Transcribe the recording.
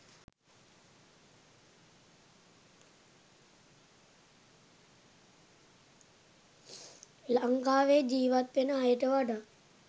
ලංකාවෙ ජීවත් වෙන අයට වඩා